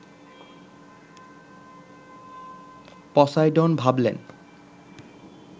Poseidon ভাবলেন